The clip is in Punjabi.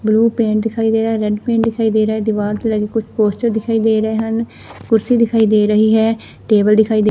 ਬਲੂ ਪੇਂਟ ਦਿਖਾਈ ਗਿਆ ਹੈ ਰੈਡ ਪੇਂਟ ਦਿਖਾਈ ਦੇ ਰਿਹਾ ਹੈ ਦੀਵਾਰ ਤੋਂ ਲਗੇ ਕੋਈ ਪੋਸਟਰ ਦਿਖਾਈ ਦੇ ਰਹੇ ਹਨ ਕੁਰਸੀ ਦਿਖਾਈ ਦੇ ਰਹੀ ਹੈ ਟੇਬਲ ਦਿਖਾਈ ਦੇ।